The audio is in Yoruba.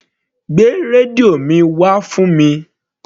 Gbé rẹ́díò mi wá fún mi.